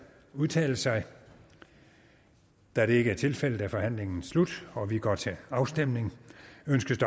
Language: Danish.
udtale sig da det ikke er tilfældet er forhandlingen sluttet og vi går til afstemning